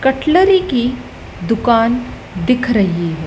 Cutlery की दुकान दिख रही है।